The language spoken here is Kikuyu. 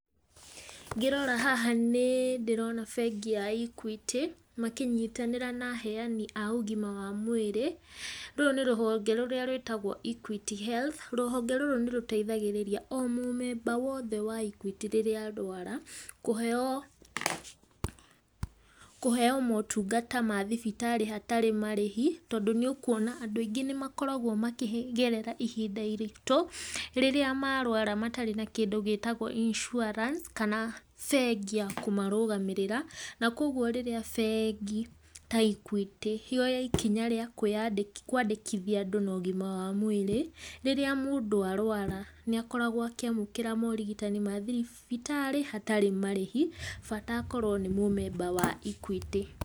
Ngĩrora haha nĩ ndĩrona bengi ya Equity, makĩnyitanĩra na aheani a ũgima wa mwĩrĩ, rũrũ nĩ rũhonge rũrĩa rwĩtagwo Equity Health, rũhonge rũrũ nĩ rũteithagĩrĩria o mũmemba wothe wa Equity rĩrĩa arwara kũheo motungata ma thibitarĩ hatarĩ marĩhi, tondũ nĩ ũkwona andũ aingĩ nĩ makoragwo makĩgerera ihinda iritũ, rĩrĩa marũara matarĩ na kĩndũ gĩtagwo insurance kana bengi ya kũmarũgamĩrĩra, na kogwo rĩrĩa bengi ta Equity yoya ikinya rĩa kwĩyandĩ kwandĩkithia andũ na ũgima wa mwĩrĩ, rĩrĩa mũndũ arũara, nĩ akoragwo akĩamũkĩra morigitani ma thibitarĩ hatarĩ marĩhi, bata akorwo nĩ mũmemba wa Equity.